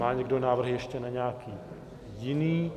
Má někdo návrhy ještě na nějaký jiný?